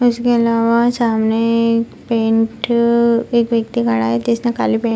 उसके अलावा सामने एक पेंट अअ एक व्यक्ति खड़ा जिसने काली पें --